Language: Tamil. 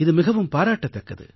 இது மிகவும் பாராட்டத்தக்கது